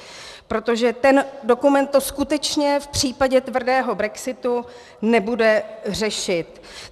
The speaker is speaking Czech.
Protože ten dokument to skutečně v případě tvrdého brexitu nebude řešit.